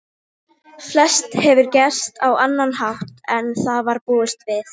Flest hefur gerst á annan hátt en þá var búist við.